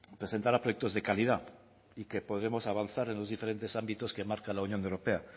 presentará proyectos de calidad y que podremos avanzar en los diferentes ámbitos que marcan la unión europea